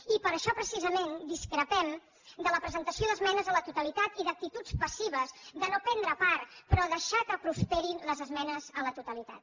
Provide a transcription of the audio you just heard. i per això precisament discrepem de la presentació d’esmenes a la totalitat i d’actituds passives de no prendre part però deixar que prosperin les esmenes a la totalitat